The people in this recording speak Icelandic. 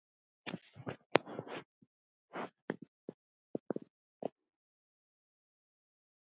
Þinn heimur er farinn maður.